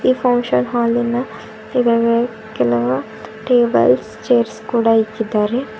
ಈ ಫಂಕ್ಷನ್ ಹಾಲಿನ tables chairs ಕೂಡ ಇಕ್ಕಿದ್ದಾರೆ.